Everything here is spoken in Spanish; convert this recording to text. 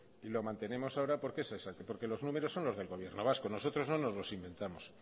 y lo mantenemos ahora porque es así porque los números son del gobierno vasco nosotros no nos los inventamos